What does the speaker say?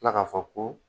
Tila k'a fɔ ko